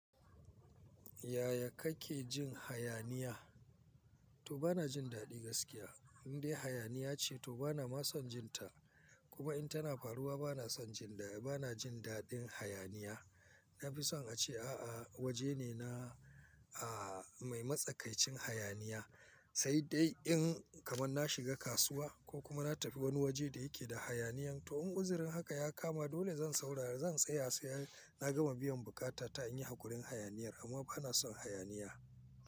Yaya kake jin hayaniya? To bana jin daɗi gaskiya, indai hayaniya ce to bana ma son jinta. Kuma in tana faruwa bana son jinda, bana jin daɗin hayaniya. Na fi son a ce a'a woje ne na, a, mai matsakaicin hayaniya. Sai dai in kaman na shiga kasuwa ko kuma na tafi woni woje da yake da hayaniyan to in uzurin haka ya kama dole zan saurari, zan tsaya sai na gama biyan bukata ta in yi hakurin hayaniyar amma bana son hayaniya.